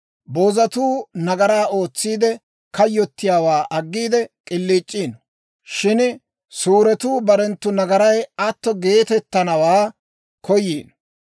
Boozatuu nagaraa ootsiide, kayyottiyaawaa aggiide k'iliic'iino; shin suuretuu barenttu nagaray atto geetettanawaa koyiino.